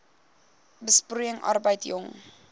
besproeiing arbeid jong